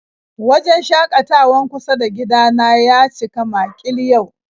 Wajen shakatawan kusa da gida na ya cika makil yau